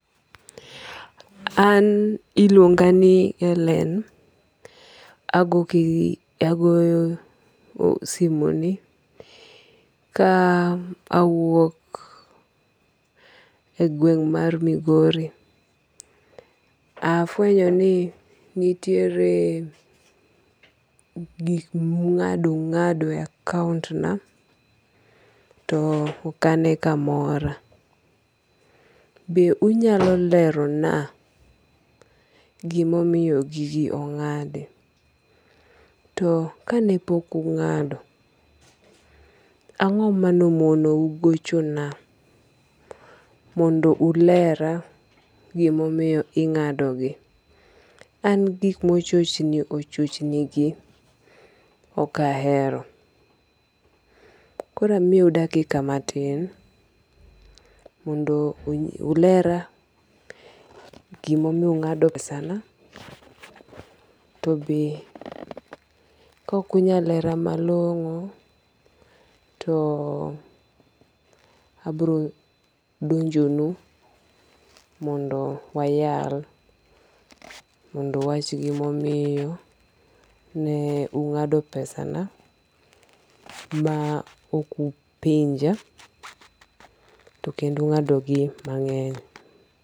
An iluonga ni Hellen agoyo simo ni. Ka awuok e gweng' mar Migori, afwenyo ni nitiere gik mung'ado ung'ado e akount na to ok ane ka mora. Be unyalo lero na gimomiyo gigi ong'adi. To kane pok ung'ado, ang'o manomonou gochona mondo ulera gimomiyo ing'adogi. An gik mochochni ochochni gi ok ahero. Koro amiyou dakika matin mondo ulera gimomiyo ung'ado pesana to be kok unyalera malong'o to abiro donjo nu mondo wayal mondo uwach gimomiyo ne ung'ado pesana ma ok upenja to kendo ung'ado gi mang'eny.